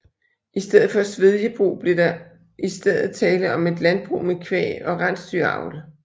I stedet for svedjebrug blev der i stedet tale om et landbrug med kvæg og rensdyravl